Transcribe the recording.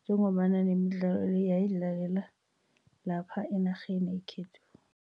njengombana nemidlalo le yayidlalela lapha enarheni yekhethu.